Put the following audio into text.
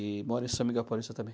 E mora em São Miguel Paulista também.